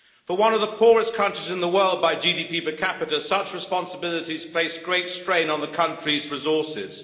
For one of the poorest countries in the world by GDP per capita, such responsibilities place great strain on the country's resources.